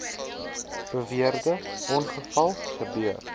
beweerde ongeval gebeur